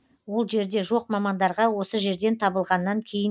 ол жерде жоқ мамандарға осы жерден табылғаннан кейін